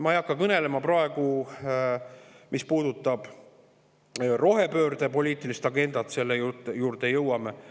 Ma ei hakka praegu kõnelema sellest, mis puudutab rohepöörde poliitilist agendat, selle juurde jõuame.